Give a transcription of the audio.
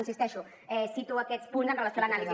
hi insisteixo cito aquests punts amb relació a l’anàlisi